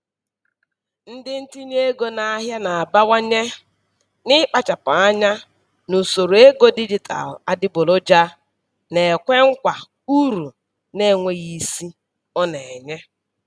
Ndị ntinye ego n'ahịa na-abawanye n'ịkpachapụ anya n'usoro ego dijitalụ adịgboloja na-ekwe nkwa uru na-enweghị isi ọ na-enye.